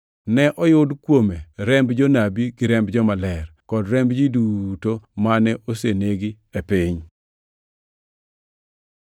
Ne oyud kuome remb jonabi gi remb jomaler, kod remb ji duto mane osenegi e piny.”